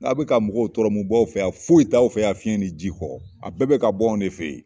N'a be ka mɔgɔw tɔrɔ mu b'aw fɛ yan foyi t'aw fɛ yan fiɲɛ ni ji kɔ a bɛɛ beka bɔ anw de fe ye